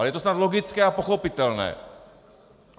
Ale je to snad logické a pochopitelné.